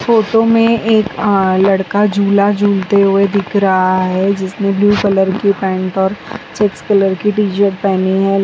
Photo में एक अह लड़का झूला झूलते हुए दिख रहा है जिसने ब्लू कलर की पैंट और कलर की टी शर्ट पहनी है।